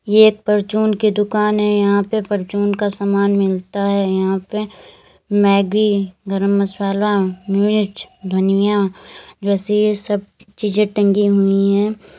ये एक परचून की दुकान है यहां पे परचून का सामान मिलता है यहां पे मैगी गरम मसाला मिर्च धनिया वैसे ये सब चीजे टंगी हुई हैं।